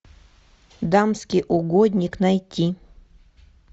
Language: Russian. дамский угодник найти